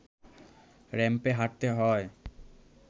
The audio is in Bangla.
র‌্যাম্পে হাঁটতে হয়